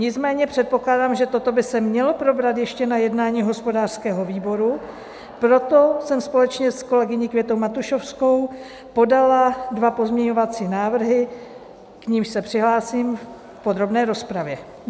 Nicméně předpokládám, že toto by se mělo probrat ještě na jednání hospodářského výboru, proto jsem společně s kolegyní Květou Matušovskou podala dva pozměňovací návrhy, k nimž se přihlásím v podrobné rozpravě.